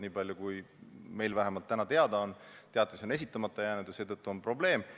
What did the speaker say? Niipalju, kui meile täna on teada, on teatis jäänud esitamata ja seetõttu on tekkinud probleem.